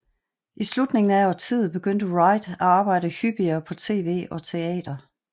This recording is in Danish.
I slutningen af årtiet begyndte Wright at arbejde hyppigere på tv og teater